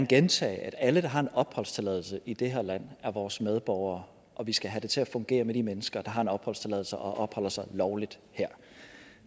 gentage at alle der har en opholdstilladelse i det her land er vores medborgere og at vi skal have det til at fungere med de mennesker der har en opholdstilladelse og opholder sig lovligt her